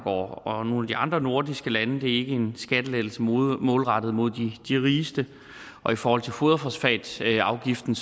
og nogle af de andre nordiske lande det er ikke en skattelettelse målrettet mod de rigeste og i forhold til foderfosfatafgiften